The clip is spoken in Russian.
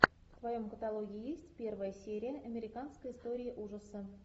в твоем каталоге есть первая серия американской истории ужаса